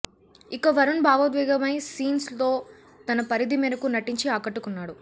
ఇక వరుణ్ బావోద్వేకమైన సీన్స్ లో తన పరిధి మేరకు నటించి ఆకట్టుకున్నాడు